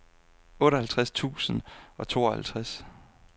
otteoghalvtreds tusind og treoghalvtreds